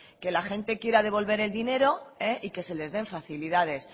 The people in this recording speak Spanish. que la gente quiera devolver el dinero y que se les den facilidades